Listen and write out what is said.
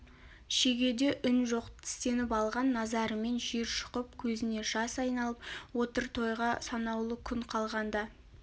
шегеде үн жоқ тістеніп алған назарымен жер шұқып көзіне жас айналып отыр тойға санаулы күн қалғанда